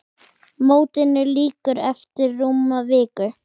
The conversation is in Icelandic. Mótinu lýkur eftir rúma viku.